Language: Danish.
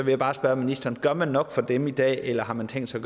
jeg bare spørge ministeren gør man nok for dem i dag eller har man tænkt sig